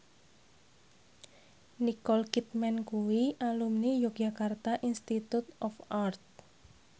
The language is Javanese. Nicole Kidman kuwi alumni Yogyakarta Institute of Art